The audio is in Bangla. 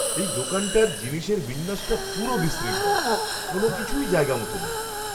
এই দোকানটার জিনিসের বিন্যাসটা পুরো বিশৃঙ্খল। কোনওকিছুই জায়গামতো নেই।